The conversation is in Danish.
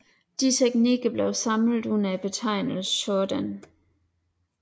Disse teknikker blev samlet under betegnelsen shōden